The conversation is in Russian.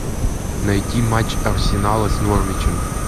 найти матч арсенала с норвичем